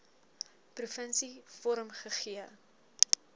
provinsie vorm gegee